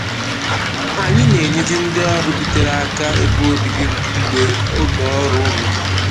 Anyị na-enyezi ndị ọrụ bitere aka ebe obibi mgbe oge ọrụ ruru